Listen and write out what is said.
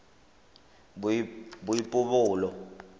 boipobolo